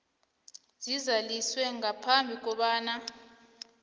zizaliswe ngaphambi kobana